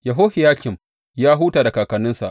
Yehohiyakim ya huta da kakanninsa.